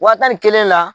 Wa tan ni kelen na